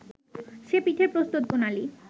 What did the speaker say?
সে পিঠের প্রস্তুতপ্রণালি